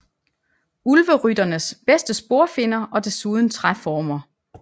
Ulverytternes bedste sporfinder og desuden træformer